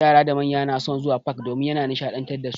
Yara da manya na son zuwa fak domin ya na nishaɗantar dasu.